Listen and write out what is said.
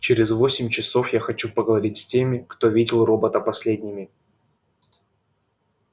через восемь часов я хочу поговорить с теми кто видел робота последними